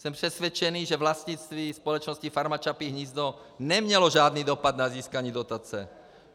Jsem přesvědčený, že vlastnictví společnosti Farma Čapí hnízdo nemělo žádný dopad na získání dotace.